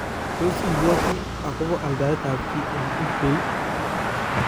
toa ibwoti akobo aldaetab Kii eng ebay?